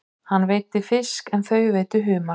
Hann veiddi fisk en þau veiddu humar.